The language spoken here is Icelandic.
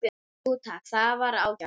Jú takk, það var ágætt